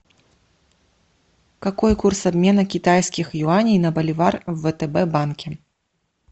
какой курс обмена китайских юаней на боливар в втб банке